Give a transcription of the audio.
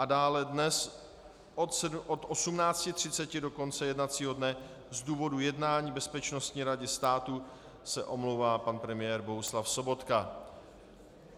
A dále dnes od 18.30 do konce jednacího dne z důvodu jednání Bezpečnostní rady státu se omlouvá pan premiér Bohuslav Sobotka.